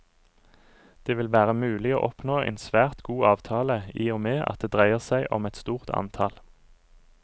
Det vil være mulig å oppnå en svært god avtale, i og med at det dreier seg om et stort antall.